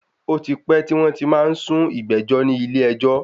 Ó ti pẹ tí wọn ti má ń sún ìgbẹ́jọ́ ní ilé ẹjọ́.